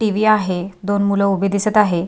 TV. आहे दोन मुल उभी दिसत आहे.